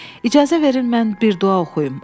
İcazə verin mən bir dua oxuyum.